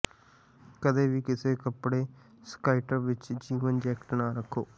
ਕਦੇ ਵੀ ਕਿਸੇ ਕੱਪੜੇ ਸਕਾਇਟਰ ਵਿੱਚ ਜੀਵਨ ਜੈਕਟ ਨਾ ਰੱਖੋ